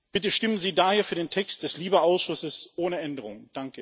Bitte stimmen Sie daher für den Text des LIBE Ausschusses ohne Änderungen!